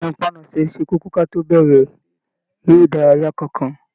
Ìnàpánasẹ̀ ṣe kókó kí a tó bẹrẹ eré ìdárayá kánkan.